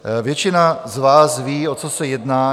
Většina z vás ví, o co se jedná.